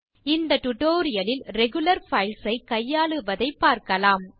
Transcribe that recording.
இந்த டியூட்டோரியல் லில் regular files ஐ கையாளுவதைப் பார்க்கலாம்